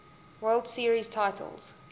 world series titles